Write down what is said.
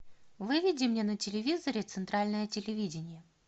выведи мне на телевизоре центральное телевидение